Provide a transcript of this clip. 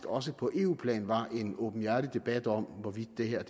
også på eu plan var en åbenhjertig debat om hvorvidt det her